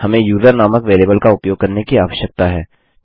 हम यूजर नामक बेरिएबल का उपयोग करने की आवश्यकता है